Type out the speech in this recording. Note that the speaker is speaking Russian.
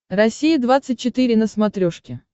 россия двадцать четыре на смотрешке